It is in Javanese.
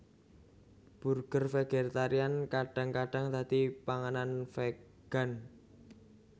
Burger vegetarian kadang kadang dadi panganan vegan